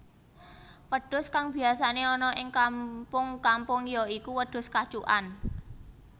Wedhus kang biyasané ana ing kampung kampung ya iku wedhus kacukan